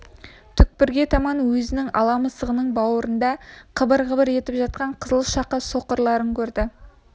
түкпірге таман өзінің ала мысығының бауырында қыбыр-қыбыр етіп жатқан қызыл-шақа соқырларын көрді